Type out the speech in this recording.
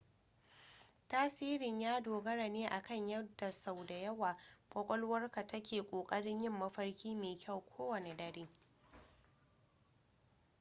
tasirin ya dogara ne akan yadda sau da yawa kwakwalwarka take ƙoƙarin yin mafarki mai kyau kowane dare